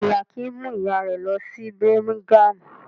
Bẹ́ẹ̀ ni, Akin mú ìyá rẹ̀ lọ sí Birmingham.